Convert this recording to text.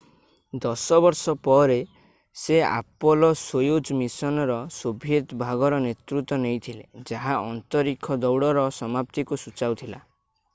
ଦଶ ବର୍ଷ ପରେ ସେ ଆପୋଲୋ-ସୋୟୁଜ୍ ମିଶନ୍‌ର ସୋଭିଏତ୍ ଭାଗର ନେତୃତ୍ୱ ନେଇଥିଲେ ଯାହା ଅନ୍ତରୀକ୍ଷ ଦୌଡ଼ର ସମାପ୍ତିକୁ ସୂଚାଉଥିଲା।